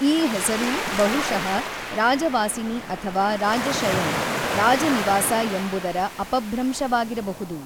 ಈ ಹೆಸರು ಬಹುಶಃ ರಾಜವಾಸಿನಿ ಅಥವಾ ರಾಜಶಯನ್- ರಾಜ ನಿವಾಸ ಎಂಬುದರ ಅಪಭ್ರಂಶವಾಗಿರಬಹುದು.